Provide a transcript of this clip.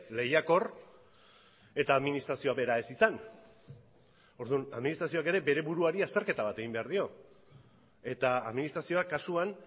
lehiakor eta administrazioa bera ez izan orduan administrazioak ere bere buruari azterketa bat egin behar dio eta administrazioa kasuan